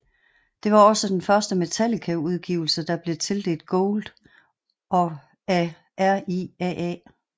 Det var også den første Metallica udgivelse der blev tildelt gold af RIAA